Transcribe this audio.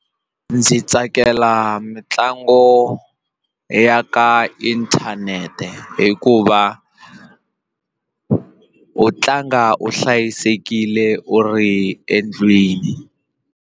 Ndzi tsakela mitlangu ya ka inthanete hikuva u tlanga u hlayisekile u ri endlwini.